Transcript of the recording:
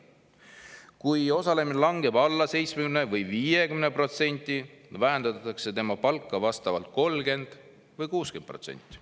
Kui osalemine langeb alla 70% või 50%, vähendatakse tema palka vastavalt 30% või 60%.